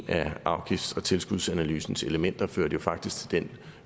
af afgifts og tilskudsanalysens elementer førte jo faktisk til den